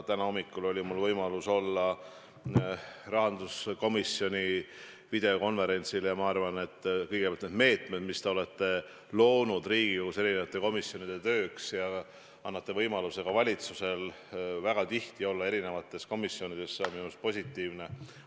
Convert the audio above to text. Täna hommikul oli mul võimalus olla rahanduskomisjoni videokonverentsil ja ma arvan kõigepealt, et need meetmed, mis te olete loonud Riigikogus eri komisjonide tööks, andes võimaluse ka valitsusel väga tihti olla eri komisjonides, on minu arust positiivsed.